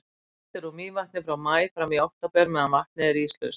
Dælt er úr Mývatni frá maí fram í október meðan vatnið er íslaust.